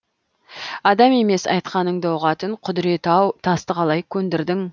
адам емес айтқаныңды ұғатын құдіреті ау тасты қалай көндірдің